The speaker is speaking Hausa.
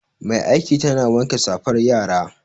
Mai aiki tana wanke safar yara